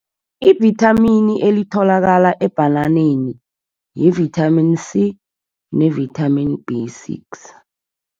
Ivithamini elitholakala ebhananeni yi-vitamin C ne-vitamin B six.